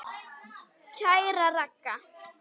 Kæra Ragga.